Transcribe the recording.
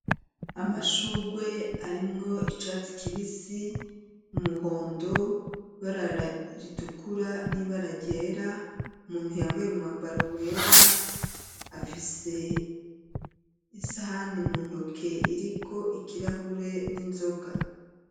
Amashugwe arimwo icatsi kibisi, umuhondo, ibara ritukura n'ibara ryera, umuntu yambaye umwambaro wera afise isahani mu ntoke iriko ikirahure n'inzoga.